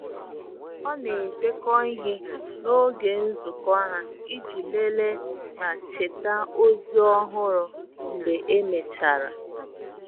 ọ na edekọ ihe n'oge nzụko ha iji lelee ma cheta ozi ọhụrụ mgbe e mechara.